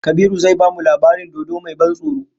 Kabiru zai bamu labarin dodo mai ban tsoro